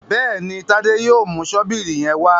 Béèni Tade yóò mú Ṣọ́bìrì yén wá.